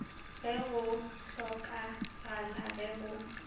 ge go hlokagala ge go